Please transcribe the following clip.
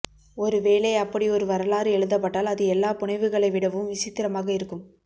ஒருவேளை அப்படியொரு வரலாறு எழுதப்பட்டால் அது எல்லாபுனைவுகளை விடவும் விசித்திரமாக இருக்கும்